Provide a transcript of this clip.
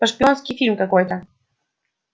это шпионский фильм какой-то